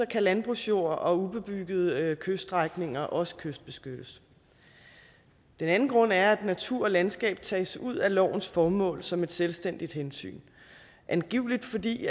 kan landbrugsjord og ubebyggede kyststrækninger også kystbeskyttes den anden grund er at natur og landskab tages ud af lovens formål som et selvstændigt hensyn angiveligt fordi